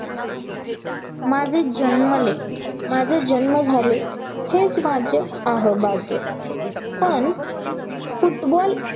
माझे जन्मले माझे जन्म झाले, हेच माझे अहो भाग्य, पण फुटबॉल